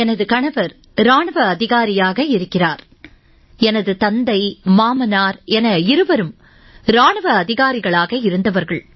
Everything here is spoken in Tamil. எனது கணவர் இராணுவ அதிகாரியாக இருக்கிறார் எனது தந்தை மாமனார் என இருவரும் இராணுவ அதிகாரிகளாக இருந்தவர்கள்